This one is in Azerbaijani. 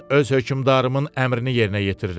Mən öz hökmdarımın əmrini yerinə yetirirəm.